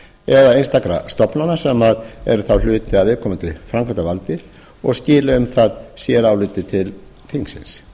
eða einstakra stofnana sem eru þá hluti af viðkomandi framkvæmdarvaldi og skili um það séráliti til þingsins